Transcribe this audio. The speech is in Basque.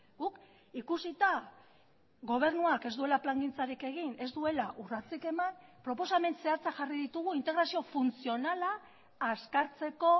guk ikusita gobernuak ez duela plangintzarik egin ez duela urratsik eman proposamen zehatzak jarri ditugu integrazio funtzionala azkartzeko